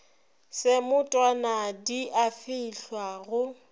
semotwana di a fehlwa go